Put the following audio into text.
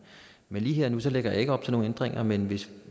men lige her og nu lægger jeg ikke op til nogen ændringer men hvis